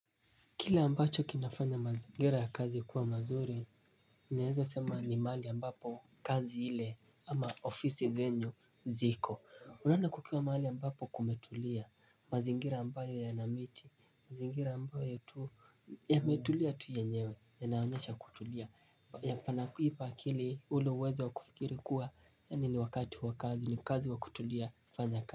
Kila ambacho kinafanya mazingira ya kazi ya kuwa mazuri, naeza sema ni mahali ambapo kazi ile ama ofisi zenyu ziko. Yani kukiwa mahali ambapo kumetulia mazingira ambayo yana miti, mazingira ambayo yametulia tu yenyewe, yanaonyesha kutulia. Yapo na ipa akili ule uweza wa kufikiri kuwa yani ni wakati wa kazi ni kazi wa kutulia fanya kazi.